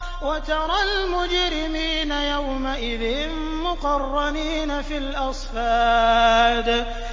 وَتَرَى الْمُجْرِمِينَ يَوْمَئِذٍ مُّقَرَّنِينَ فِي الْأَصْفَادِ